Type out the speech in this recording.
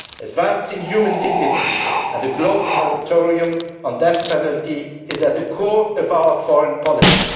partners advancing human dignity, and the global moratorium on the death penalty is at the core of our foreign